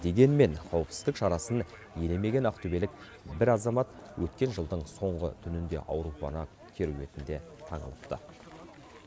дегенмен қауіпсіздік шарасын елемеген ақтөбелік бір азамат өткен жылдың соңғы түнінде аурухана керуетіне таңылыпты